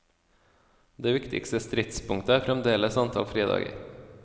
Det viktigste stridspunktet er fremdeles antall fridager.